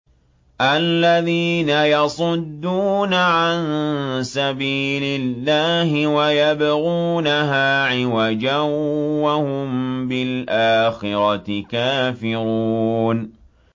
الَّذِينَ يَصُدُّونَ عَن سَبِيلِ اللَّهِ وَيَبْغُونَهَا عِوَجًا وَهُم بِالْآخِرَةِ كَافِرُونَ